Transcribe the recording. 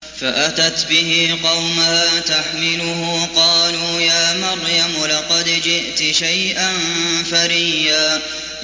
فَأَتَتْ بِهِ قَوْمَهَا تَحْمِلُهُ ۖ قَالُوا يَا مَرْيَمُ لَقَدْ جِئْتِ شَيْئًا فَرِيًّا